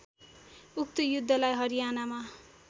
उक्त युद्धलाई हरियानामा